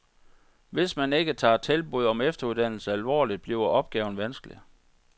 Hvis man ikke tager tilbud om efterudddannelse alvorligt, bliver opgaven vanskelig.